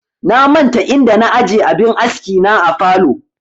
Na manta inda na aje abin aski na a falow